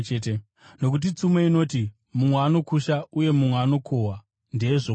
Nokuti tsumo inoti, ‘Mumwe anokusha uye mumwe anokohwa ndeyezvokwadi.’